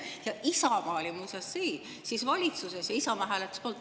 Ja Isamaa oli muuseas siis valitsuses ja Isamaa hääletas …